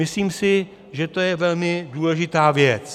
Myslím si, že je to velmi důležitá věc.